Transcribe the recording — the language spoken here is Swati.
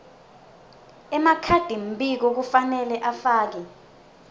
emakhadimbiko kufanele afake